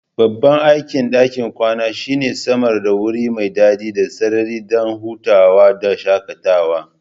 Babban aikin ɗakin kwana shine samar da wuri mai dadi da sirri don hutawa da shakatawa